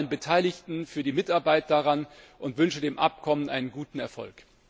Ich danke allen Beteiligten für die Mitarbeit daran und wünsche dem Abkommen einen guten Erfolg.